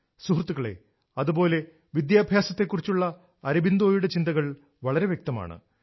സുഹൃത്തുക്കളേ അതുപോലെ വിദ്യാഭ്യാസ ത്തെക്കുറിച്ചുള്ള അരബിന്ദോയുടെ ചിന്തകൾ വളരെ വ്യക്തമാണ്